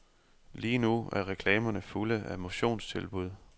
Lige nu er reklamerne fulde af motionstilbud.